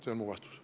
See on mu vastus.